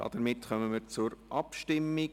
Damit kommen wir zur Abstimmung.